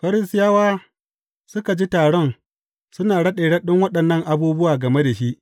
Farisiyawa suka ji taron suna raɗe raɗen waɗannan abubuwa game da shi.